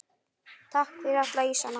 Takk fyrir alla ísana.